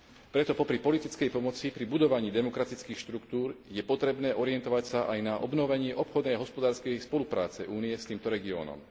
Preto popri politickej pomoci pri budovaní demokratických štruktúr je potrebné sa orientovať aj na obnovenie obchodnej a hospodárskej spolupráce Únie s týmto regiónom.